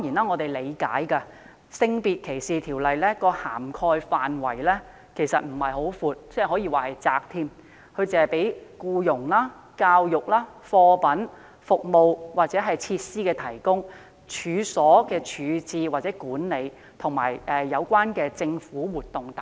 我們理解《性別歧視條例》的涵蓋範圍並不寬闊，更可說是狹窄，只是規管僱傭、教育、貨品、服務或設施的提供，處所的處置或管理，以及有關的政府活動等。